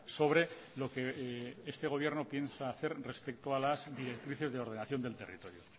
sobre lo que este gobierno piensa hacer respecto a las directrices de ordenación del territorio